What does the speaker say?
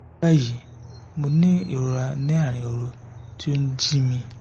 ní báyìí mo ní ìrora ní àárín òru tí ó ń jí mi